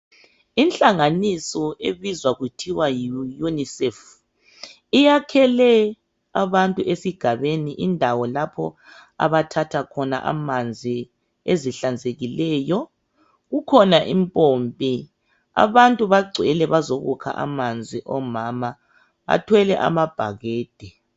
Inhanganiso ebizwa kuthiwa yiUNICEF, iyakhele abantu esigabeni indawo lapho abathatha khona amanzi ezihlanzekileyo. Kukhona impompi. Abantu bagcwele bazokukha amanzi, omama bathwele amabhakede.